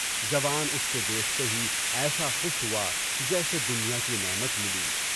جوان اُس کے دیکھتے ہی ایسا خوش ہوا جیسے دنیا کی نعمت ملی۔